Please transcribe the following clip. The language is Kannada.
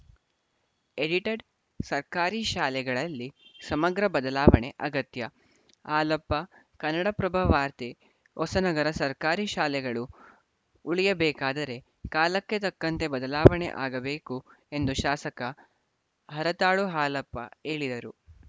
ಎಡಿಟೆಡ್‌ ಸರ್ಕಾರಿ ಶಾಲೆಗಳಲ್ಲಿ ಸಮಗ್ರ ಬದಲಾವಣೆ ಅಗತ್ಯ ಹಾಲಪ್ಪ ಕನ್ನಡಪ್ರಭ ವಾರ್ತೆ ಹೊಸನಗರ ಸರ್ಕಾರಿ ಶಾಲೆಗಳು ಉಳಿಯಬೇಕಾದರೆ ಕಾಲಕ್ಕೆ ತಕ್ಕಂತೆ ಬದಲಾಣೆ ಆಗಬೇಕು ಎಂದು ಶಾಸಕ ಹರತಾಳು ಹಾಲಪ್ಪ ಹೇಳಿದರು